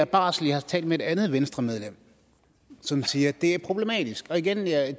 barsel jeg har talt med et andet venstremedlem som siger at det er problematisk og igen vil jeg